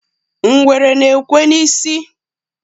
ngwere na-ekwe n'isi